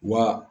Wa